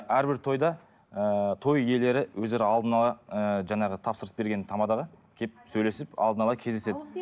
әрбір тойда ыыы той иелері өздері алдын ала ыыы жаңағы тапсырыс берген тамадаға келіп сөйлесіп алдын ала кездеседі